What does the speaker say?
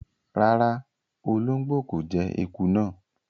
Ràrá, o olongbo ko jẹ ẹkú náa.